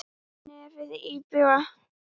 Nefið íbjúgt.